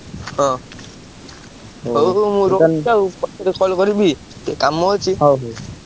ହଁ, ହଉ ହଉ ମୁଁ ରଖୁଛି ଆଉ ପଛରେ call କରିବି। ଟିକେ କାମ ଅଛି।